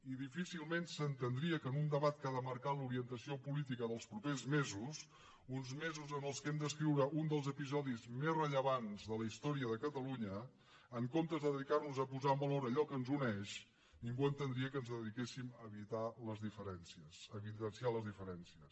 i difícilment s’entendria que en un debat que ha de marcar l’orientació política dels propers mesos uns mesos en què hem d’escriure un dels episodis més rellevants de la història de catalunya en comptes de dedicar nos a posar en valor allò que ens uneix ningú entendria que ens dediquéssim a evidenciar les diferències